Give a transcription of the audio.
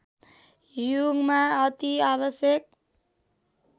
युगमा अति आवश्यक